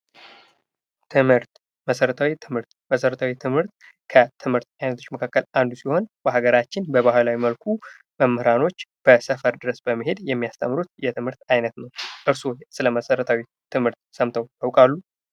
ትምህርት መሰረታዊ ትምህርት የመሰረታዊ ትምህርት ከትምህርት አይነቶች መካከል አንዱ ሲሆን በአገራችን በባህላዊ መልኩ መምህራች ሰፈር ድረስ በመሄድ የሚያስተምሩት የትምህርት አይነት ነው። እርስዎስ ስለ መሰረታዊ ትምህርት ሰምተው ያውቃሉ?